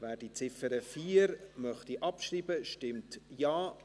Wer die Ziffer 4 abschreiben möchte, stimmt Ja,